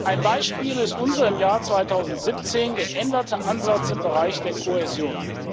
Ein Beispiel ist unser im Jahr 2017 geänderter Ansatz im Bereich der Kohäsion.